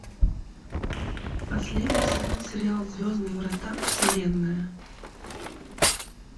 последний сезон сериал звездные врата вселенная